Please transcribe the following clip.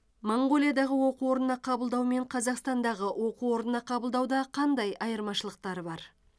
моңғолиядағы оқу орнына қабылдау мен қазақстандағы оқу орнына қабылдауда қандай айырмашылықтары бар